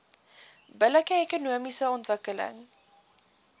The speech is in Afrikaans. billike ekonomiese ontwikkeling